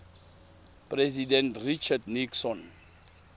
president richard nixon